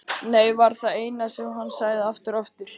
Nei var það eina sem hann sagði, aftur og aftur.